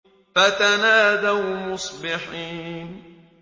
فَتَنَادَوْا مُصْبِحِينَ